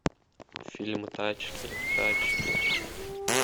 фильм тачки тачки